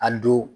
A don